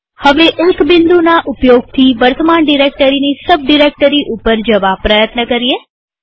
હવે એક બિંદુના ઉપયોગથી વર્તમાન ડિરેક્ટરીની સબ ડિરેક્ટરી ઉપર જવા પ્રયત્ન કરીએ